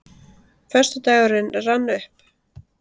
Föstudagurinn rann upp.